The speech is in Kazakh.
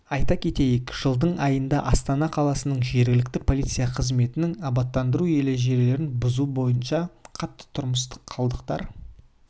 айта кетейік жылдың айында астана қаласының жергілікті полиция қызметімен абаттандыру ережелерін бұзу бойынша қатты тұрмыстық қалдықтарды